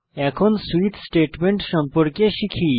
এখন switch statement সম্পর্কে শিখি